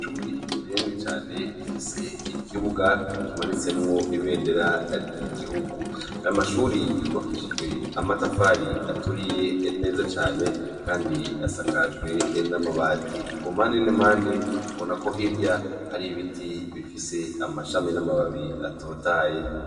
Ishure rinini Cane rifise ikibuga kimanitsemwo ibendera ryi guhugu , ishure ry yubakishijwe amatafari aturiye neza Cane Kandi asakajwe namabati, kumpande nimpande ubona ko hitya hari ibiti bifise amashami namababi atotaye.